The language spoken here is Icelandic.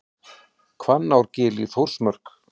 Hvannárgil í Þórsmörk.